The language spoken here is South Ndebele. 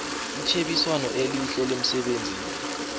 itjhebiswano elihle lemsebenzini